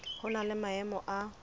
ho na le maemo a